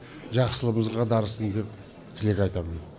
жақсылығымызға дарысын деп тілек айтамын